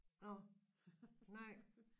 Nå nej